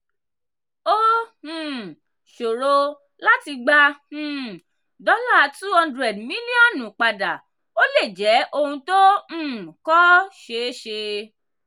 ó um ṣòro láti gbà um $200 mílíọ̀nù padà ó lè jẹ́ ohun tó um kọ́ ṣeé ṣe.